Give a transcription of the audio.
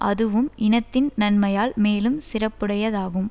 அதுவும் இனத்தின் நன்மையால் மேலும் சிறப்புடையதாகும்